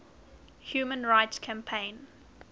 human rights campaign